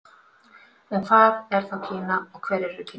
En hvað er þá Kína og hverjir eru Kínverjar?